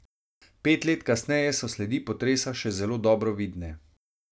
Pet let kasneje so sledi potresa še zelo dobro vidne.